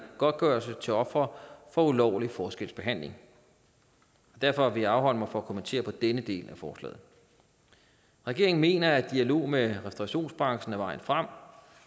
godtgørelse til ofre for ulovlig forskelsbehandling derfor vil jeg afholde mig fra at kommentere på denne del af forslaget regeringen mener at dialog med restaurationsbranchen er vejen frem